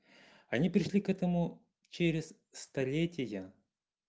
они пришли к этому через столетия